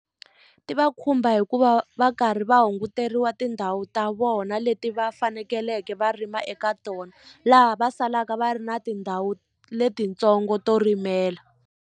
Ti va khumba hikuva va karhi va hunguteriwa tindhawu ta vona leti va fanekeleke va rima eka tona laha va salaka va ri na tindhawu letintsongo to rimela.